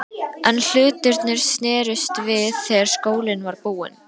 En hlutirnir snerust við þegar skólinn var búinn.